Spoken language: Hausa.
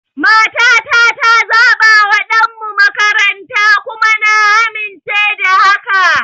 Matata ta zabawa ɗanmu makaranta, kuma na amince da haka.